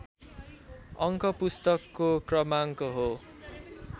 अङ्क पुस्तकको क्रमाङ्क हो